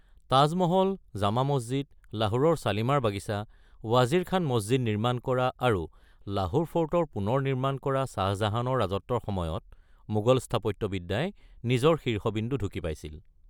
তাজ মহল, জামা মছজিদ, লাহোৰৰ শ্বালিমাৰ বাগিচা, ৱাজিৰ খান মছজিদ নিৰ্মাণ কৰা আৰু লাহোৰ ফৰ্টৰ পুনৰ নিৰ্মাণ কৰা শ্বাহ জাহানৰ ৰাজত্বৰ সময়ত মোগল স্থাপত্যবিদ্যাই নিজৰ শীৰ্ষবিন্দু ঢুকি পাইছিল।